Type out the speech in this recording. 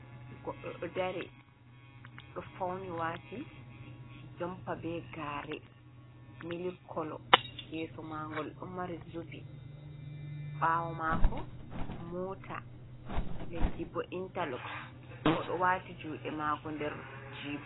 Goɗɗo ɗo dari ɗo fauni wati jompa, be gare mili kolo, yeso mangol ɗo mari zubi, ɓawo mako mota, leddi bo intarloxs o ɗo wati juɗe mako nder jiɓa.